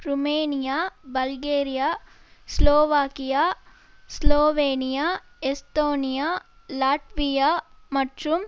Romania Bulgaria Slovakia Slovenia Estonia Latvia மற்றும்